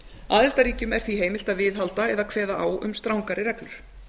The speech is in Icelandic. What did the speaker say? aðildarríkjum er því heimilt að viðhalda eða kveða á um strangari reglur